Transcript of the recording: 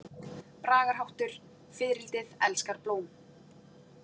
Bragarháttur: „Fiðrildið elskar blóm“.